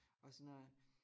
Og sådan noget